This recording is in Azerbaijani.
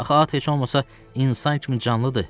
Axı at heç olmasa insan kimi canlıdır.